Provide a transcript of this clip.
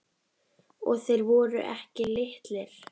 Og þeir voru ekki litlir.